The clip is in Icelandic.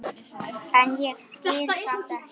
en ég skil samt ekki.